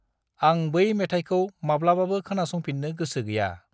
आं बै मेथाइखौ माब्लाबाबो खोनासंफिन्नो गोसो गैया।